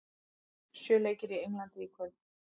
Sjö leikir í Englandi í kvöld